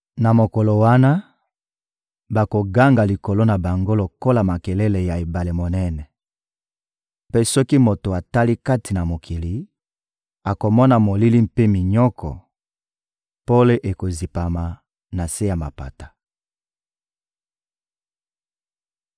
Na mokolo wana, bakoganga likolo na bango lokola makelele ya ebale monene. Mpe soki moto atali kati na mokili, akomona molili mpe minyoko: pole ekozipama na se ya mapata.